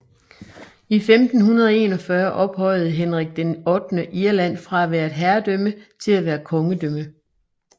I 1541 ophøjede Henrik VIII Irland fra at være et herredømme til at være kongedømme